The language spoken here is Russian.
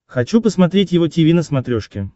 хочу посмотреть его тиви на смотрешке